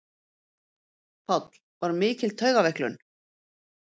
Páll: Var mikil taugaveiklun?